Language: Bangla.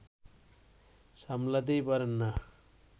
সামলাতেই পারেন না